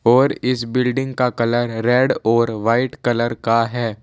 और इस बिल्डिंग का कलर रेड और वाइट कलर का है।